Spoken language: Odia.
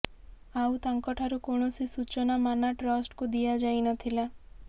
ଆଉ ତାଙ୍କ ଠାରୁ କୌଣସି ସୂଚନା ମାନା ଟ୍ରଷ୍ଟକୁ ଦିଆଯାଇନଥିଲା